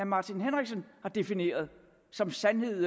martin henriksen har defineret som sandhed